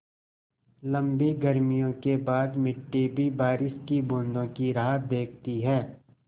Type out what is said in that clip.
लम्बी गर्मियों के बाद मिट्टी भी बारिश की बूँदों की राह देखती है